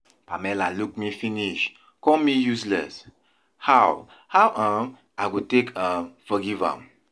Pamela look me finish call me useless, how how um i go take um forgive am?